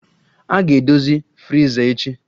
A ga-edozi friza echi